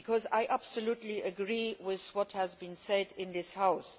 I absolutely agree with what has been said in this House.